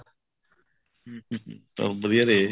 ਹਮ ਵਧੀਆ ਰਹੇ